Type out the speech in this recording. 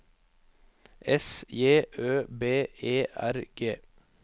S J Ø B E R G